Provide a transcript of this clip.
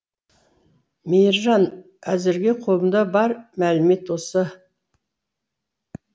мейіржан әзірге қолымда бар мәлімет осы